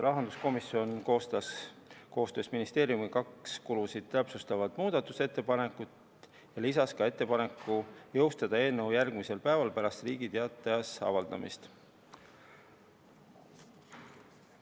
Rahanduskomisjon koostas koostöös ministeeriumiga kaks kulusid täpsustavat muudatusettepanekut ja lisas ettepaneku jõustada eelnõu järgmisel päeval pärast Riigi Teatajas avaldamist.